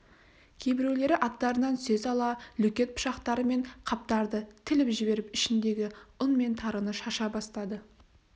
кейбіреулері аттарынан түсе сала лөкет пышақтарымен қаптарды тіліп жіберіп ішіндегі ұн мен тарыны шаша бастады